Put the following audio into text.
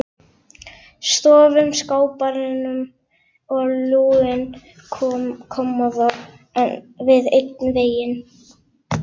Stofuskápurinn og lúin kommóða við einn vegginn.